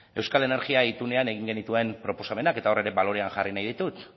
euskal energia itunean egin genituen proposamenak eta hor ere balorean jarri nahi ditut